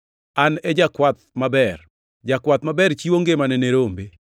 “An e jakwath maber. Jakwath maber chiwo ngimane ne rombe.